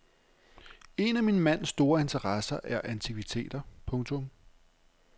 En af min mands store interesser er antikviteter. punktum